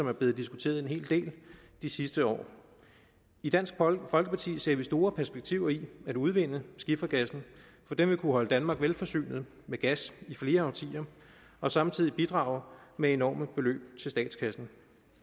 er blevet diskuteret en hel del i de sidste år i dansk folkeparti ser vi store perspektiver i at udvinde skifergassen for den vil kunne holde danmark velforsynet med gas i flere årtier og samtidig bidrage med enorme beløb til statskassen